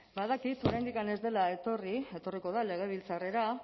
badakit oraindik ez dela etorri etorriko da legebiltzarrera